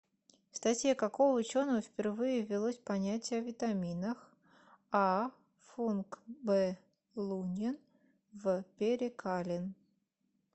в статье какого ученого впервые ввелось понятие о витаминах а функ б лунин в перекалин